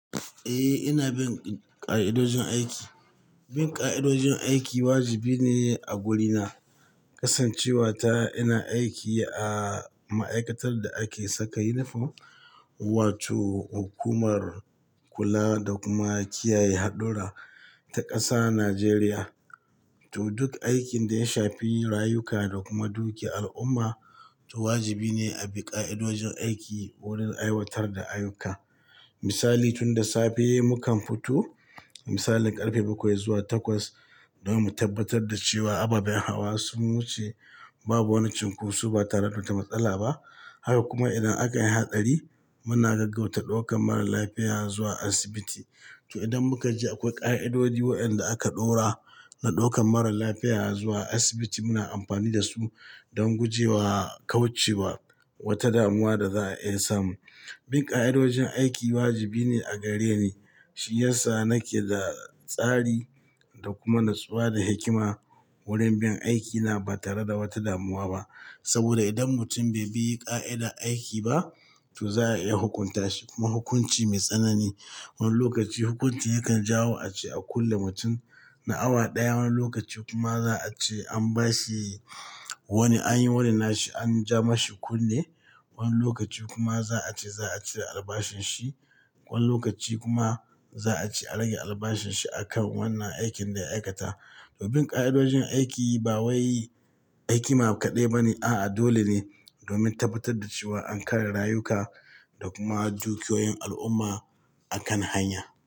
Eh, ina bin ƙa'idojin aiki. Bin ƙa'idojin aiki wajibi ne a gurina. Kasancewa ta ina aiki a ma'aikatar da ake saka yunifom wato hukumar kula da kuma kiyaye haɗura ta ƙasa Najeriya. To duk aikin da ya shafi rayuka da kuma dukiyar al'umma, to wajibi ne a bi ƙa'idojin aiki wurin aiwatar da ayyuka. Misali, tun da safe mukan fito misalin ƙarfe bakwai zuwa takwas domin mu tabbatar da cewa ababen hawa sun wuce, babu wani cunkoso ba tare da wata matsala ba. Haka kuma idan aka yi hatsari muna gaggauta ɗaukan marar lafiya zuwa asibiti. To idan muka ji akwai ƙa'idodi waɗanda aka ɗora na ɗaukan marar lafiya zuwa asibiti muna amfani da su don guje wa kauce wa wata damuwa da za a iya samu. Bin ƙa'idojin aiki wajibi ne a gareni. Shi yasa nake da tsari da kuma natsuwa da hikima wurin bin aikina ba tare da wata damuwa ba. Saboda idan mutum bai bi ƙa'ida aiki ba to za a iya hukunta shi kuma hukunci mai tsanani. Wani lokaci hukunci yakan jawo ace a kulle mutum na awa ɗaya, wani lokaci kuma za a ce an ba shi wani an yi wonin na shi an ja ma shi kunne, wani lokaci kuma za a ce za a cire albashin shi, wani lokaci kuma za a ce a rage albashin shi a kan wannan aikin da ya aikata. To bin ƙa'idojin aiki ba wai hikima kaɗai ba ne, a'a dole ne domin tabbatar da cewa an kare rayuka da kuma dukiyoyin al'umma a kan hanya.